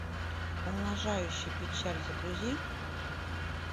умножающий печаль загрузи